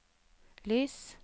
lys